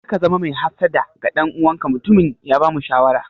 Kar ka zama mai hassada ga ɗan uwanka, mutumin ya bamu shawara.